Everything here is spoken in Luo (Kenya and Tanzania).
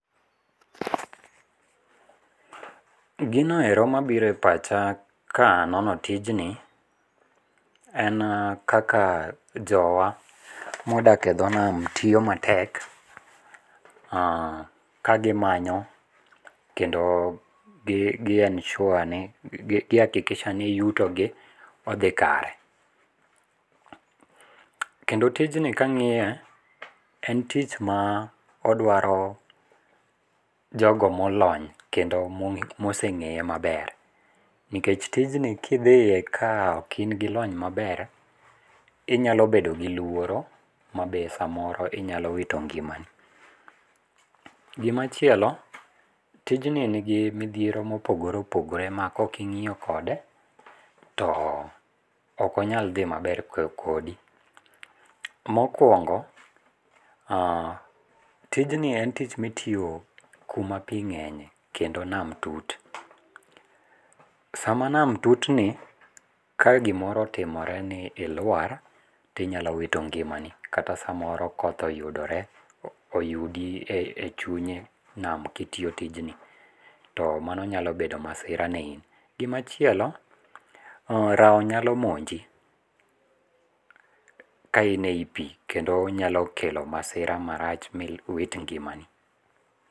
Gino ero mabiro e pacha ka anono tijni, en kaka jowa modaki e dho nam tiyo matek, kagimanyo kendo ka gi ensure ni gi akikisha ni yutogi odhi kare, kendo tijni kang'iye en tich ma dwaro jogo molony kendo moseng'eye maber nikech tijni kidhiye ka ok in gi lony maber inyalo bedo gi luoro ma be samoro inyalo wito ng'imani. Gimachielo tijni nigi midhiero mopogore opogore ma ka oking'iyo kode too okonyal dhi maber kodi. Mokuongo tijni en tich mitiyo kuma pi ng'enye kendo nam tut, sama nam tutni ka gimoro otimore ni iluar tinyalo wito ng'imani kata samoro koth oyudore ouyudi e chunye nam ka itiyo tijni to mano nyalo bedo masira ne in. Gimachielo rawo nyalo monji ka ine yi pi kendo nyalo kelo masira marach miwit ng'imani.